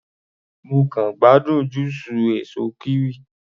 Mo kàn gbádùn júùsù èsó kiwi.